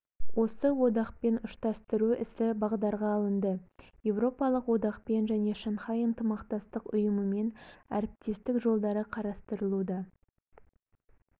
осы одақпен ұштастыру ісі бағдарға алынды еуропалық одақпен және шанхай ынтымақтастық ұйымымен әріптестік жолдары қарастырылуда